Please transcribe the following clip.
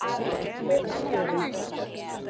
Hofstöðum